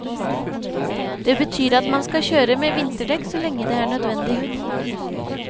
Det betyr at man skal kjøre med vinterdekk så lenge det er nødvendig.